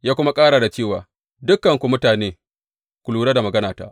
Ya kuma ƙara da cewa, Dukanku mutane, ku lura da maganata!